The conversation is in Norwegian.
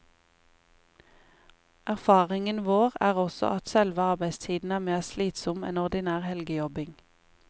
Erfaringen vår er også at selve arbeidstiden er mer slitsom enn ordinær helgejobbing.